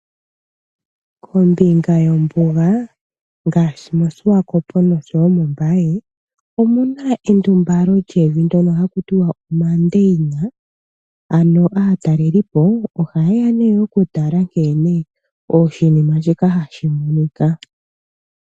Ombinga yombuga ngaashi mOshiwakopo noshowo mOmbaye omuna endumbalo lyevi, ndyono haku tiwa omandeyina, ano aatalelipo oha yeya nee okutala nkene oshinima shika hashi monika.